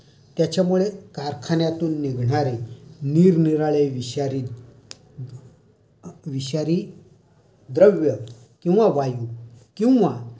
त्याच्यामुळे कारखान्यातून निघणारे निरनिराळे विषारी द्रव्य किंवा वायु किंवा